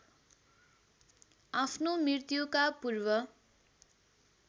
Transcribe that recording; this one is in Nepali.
आफ्नो मृत्युका पूर्व